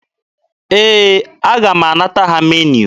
Ee, aga m anata ha meniu.